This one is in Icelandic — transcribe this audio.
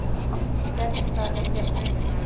Fékkstu það hjá Bretanum?